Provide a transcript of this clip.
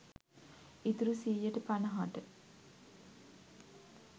ඉතුරු සීයට පනහට.